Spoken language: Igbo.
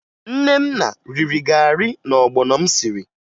Nnenna riri garị na ọgbọnọ m siri